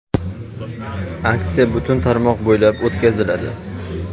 Aksiya butun tarmoq bo‘ylab o‘tkaziladi.